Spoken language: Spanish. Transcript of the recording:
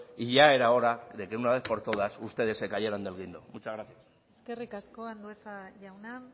y ya era hora de que una vez por todas ustedes se cayeran del guindo muchas gracias eskerrik asko andueza jauna